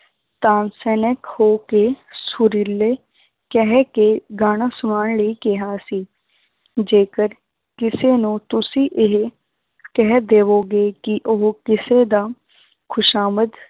ਹੋ ਕੇ ਸੁਰੀਲੇ ਕਹਿ ਕੇ ਗਾਣਾ ਸੁਣਾਉਣ ਲਈ ਕਿਹਾ ਸੀ, ਜੇਕਰ ਕਿਸੇ ਨੂੰ ਤੁਸੀਂ ਇਹ ਕਹਿ ਦੇਵੋਗੇ ਕਿ ਉਹ ਕਿਸੇ ਦਾ ਖ਼ੁਸ਼ਾਮਦ